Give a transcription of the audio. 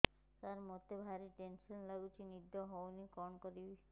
ସାର ମତେ ଭାରି ଟେନ୍ସନ୍ ଲାଗୁଚି ନିଦ ହଉନି କଣ କରିବି